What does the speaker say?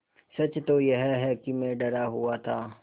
सच तो यह है कि मैं डरा हुआ था